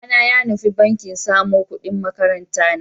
Babana ya nufi banki samo ƙudin makarantana.